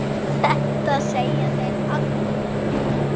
Þetta segja þeir allir!